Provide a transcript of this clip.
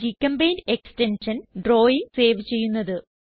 gchempaint extension drawing save ചെയ്യുന്നത്